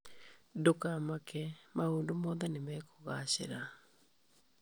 Ndũkamake, maũndũ mothe nĩ mekũgaacĩra.